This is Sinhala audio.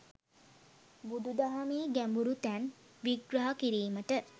බුදු දහමේ ගැඹුරු තැන් විග්‍රහ කිරීමට